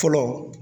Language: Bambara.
Fɔlɔ